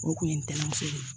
O kun ye n tɛ muso ye